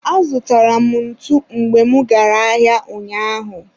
azụtara m ntu mgbe mụ gara ahịa ụnyaahụ.